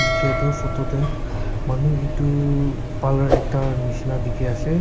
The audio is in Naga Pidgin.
dikhey tu photo te manu etu parlour ekta nishina dikhey ase.